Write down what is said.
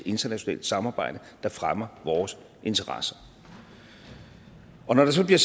internationalt samarbejde der fremmer vores interesser når der så bliver